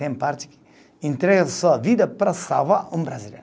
Tem parte que entrega sua vida para salvar um brasileiro.